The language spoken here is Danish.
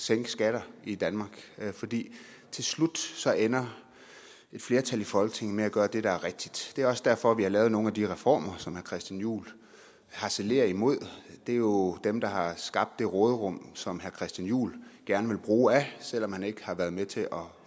sænke skatter i danmark fordi til slut ender et flertal i folketinget med at gøre det der er rigtigt det er også derfor vi har lavet nogle af de reformer som herre christian juhl harcelerer imod det er jo dem der har skabt det råderum som herre christian juhl gerne vil bruge af selv om han ikke har været med til at